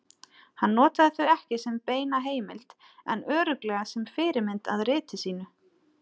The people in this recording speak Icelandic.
Hann notaði þau ekki sem beina heimild en örugglega sem fyrirmynd að riti sínu.